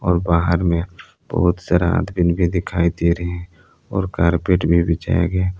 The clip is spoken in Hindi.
और बाहर में बहुत सारा आदमीन भी दिखाई दे रहे हैं और कारपेट भी बिछाया गया है।